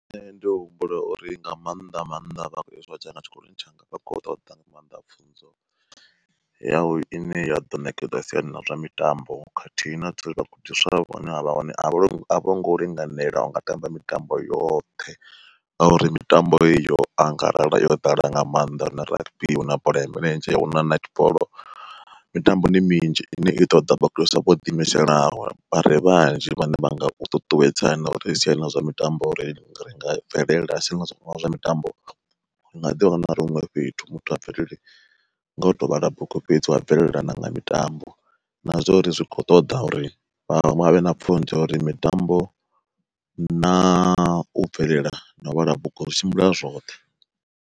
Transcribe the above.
Nṋe ndi humbula uri nga maanḓa maanḓa tshikoloni tshanga vhakho ṱoḓa nga maanḓa pfunzo yawu ine ya ḓo ṋekedza siani ḽa zwa mitambo, khathihi na vhagudiswa vhune havha hone a vha a vho ngo linganela unga tamba mitambo yoṱhe. Ngauri mitambo heyi yo angarela yo ḓala nga maanḓa huna rugby, huna bola ya milenzhe, huna netball mitambo ndi minzhi ine i ṱoḓa vhagudiswa vho ḓimiselaho, vhare vhanzhi vhane vha nga ṱuṱuwedza na uri siani ḽa zwa mitambo ringa bvelela husi ngazwo zwa mitambo. Ri nga ḓi wana ri huṅwe fhethu muthu a bvelele nga u to vhala bugu fhedzi wa bvelela na nga mitambo, na zwa uri zwi kho ṱoḓa uri vha vhe na uri mitambo na u bvelela na u vhala bugu zwi tshimbila zwoṱhe.